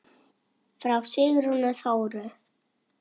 Frá Sigrúnu Þóru.